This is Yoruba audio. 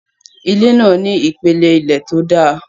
Ilé náà ní ìpele ilé tó dáa